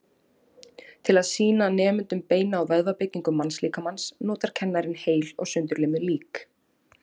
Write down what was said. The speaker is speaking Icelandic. Til að sýna nemendum beina- og vöðvabyggingu mannslíkamans notar kennarinn heil og sundurlimuð lík.